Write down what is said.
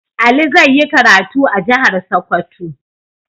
Ali zai yi karatu a jihar Sokoto.